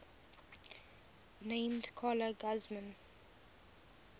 named carla guzman